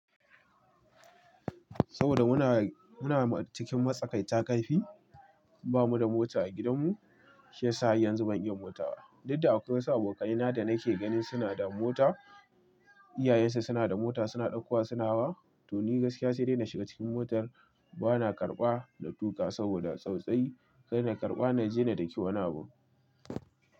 Saboda muna cikin matsakai ta ƙarfi, ba mu da mota a gidanmu. Shi ya sa yanzu ban iya motawa. Dukda akwai wasu abokanai na da nake gani suna da mota, iyayensu suna da mota, suna ɗaukowa su suna hawa. To ni gaskiya sai dai na shiga cikin motar, bana karɓa na tuƙa saboda tsautsayi. Kar na karɓa na jene da ke wani abu.